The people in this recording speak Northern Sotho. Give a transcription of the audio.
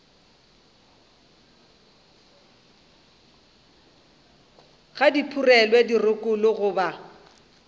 ga di phurelwe dirokolo goba